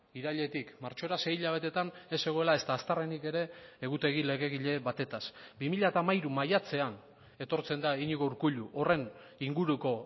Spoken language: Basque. irailetik martxora sei hilabeteetan ez zegoela ezta aztarrenik ere egutegi legegile batetaz bi mila hamairu maiatzean etortzen da iñigo urkullu horren inguruko